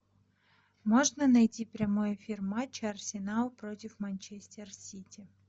можно найти прямой эфир матча арсенал против манчестер сити